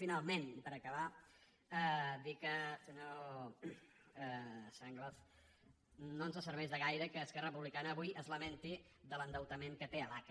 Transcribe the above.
finalment i per acabar dir que senyor sanglas no ens serveix de gaire que esquerra republicana avui es lamenti de l’endeutament que té l’aca